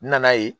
N nana ye